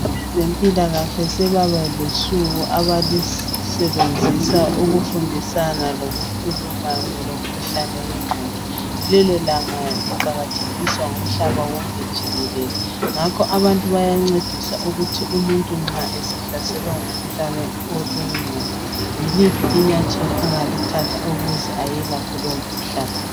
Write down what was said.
Abezempilakahle sebaba losuku abalusebenzisa ukufundisana lokukhuluma ngomkhuhlane wengqondo. Lelo langa liqakathekiswa ngumhlaba wonke jikelele ngakho abantu bayancediswa ukuthi umuntu nxa esehlaselwa ngumkhuhlane wengqondo yiliphi inyathela angalithatha ukuze ayelaphe lomkhuhlane.